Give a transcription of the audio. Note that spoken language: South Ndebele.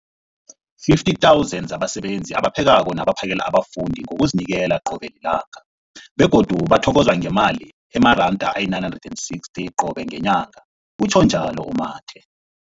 50 000 zabasebenzi abaphekako nabaphakela abafundi ngokuzinikela qobe ngelanga, begodu bathokozwa ngemali ema-960 wamaranda qobe ngenyanga, utjhwe njalo u-Mathe.